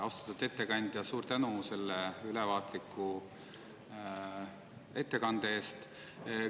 Austatud ettekandja, suur tänu selle ülevaatliku ettekande eest!